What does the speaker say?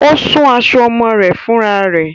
Ó ṣun aṣọ ọmọ rẹ̀ fúnrá rẹ̀